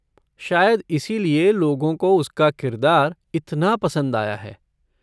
शायद इसी लिए लोगों को उसका किरदार इतना पसंद आया है।